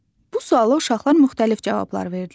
Bu suala uşaqlar müxtəlif cavablar verdilər.